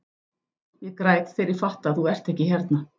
Ég græt þegar ég fatta að þú ert ekki hérna.